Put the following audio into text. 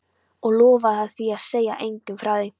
Og lofa að segja engum frá því?